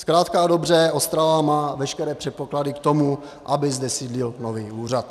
Zkrátka a dobře, Ostrava má veškeré předpoklady k tomu, aby zde sídlil nový úřad.